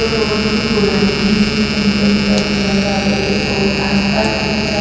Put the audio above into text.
ये बहोत ही पुरानी है इसमें कही कही पर जंग आ गयी है और आसपास बहोत सा--